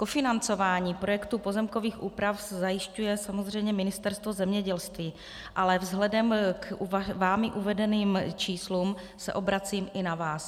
Kofinancování projektu pozemkových úprav zajišťuje samozřejmě Ministerstvo zemědělství, ale vzhledem k vámi uvedeným číslům se obracím i na vás.